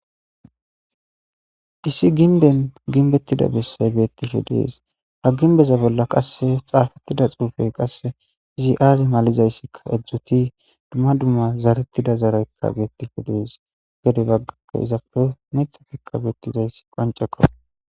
isi ginben ginbettida bessay beettishee dees hagin beza bolla qasse xaafettida xuufey qasse izi aazi malizayssika edzdzuti dumma dumma zaarettida zaraykka beettishe dees gede baggarakke izape methatikka beettizayssi qonceko